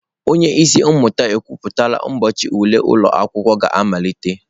Onye isi mmụta ekwuputala ụbọchị ule ụlọ akwụkwọ ga-amalite.